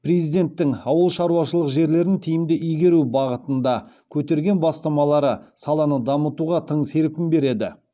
президенттің ауыл шаруашылық жерлерін тиімді игеру бағытында көтерген бастамалары саланы дамытуға тың серпін береді